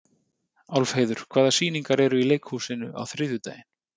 Álfheiður, hvaða sýningar eru í leikhúsinu á þriðjudaginn?